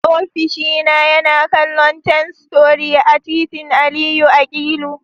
Ofishina yana kallon Ten Story a titin Aliyu Akilu.